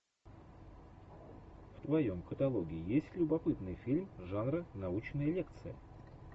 в твоем каталоге есть любопытный фильм жанра научная лекция